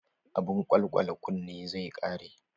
Abun kwalkwale kunne zai ƙare.